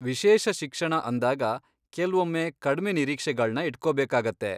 ವಿಶೇಷ ಶಿಕ್ಷಣ ಅಂದಾಗ ಕೆಲ್ವೊಮ್ಮೆ ಕಡ್ಮೆ ನಿರೀಕ್ಷೆಗಳ್ನ ಇಟ್ಕೊಬೇಕಾಗತ್ತೆ.